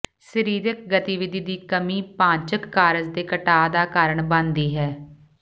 ਸਰੀਰਕ ਗਤੀਵਿਧੀ ਦੀ ਕਮੀ ਪਾਚਕ ਕਾਰਜ ਦੇ ਘਟਾ ਦਾ ਕਾਰਨ ਬਣਦੀ ਹੈ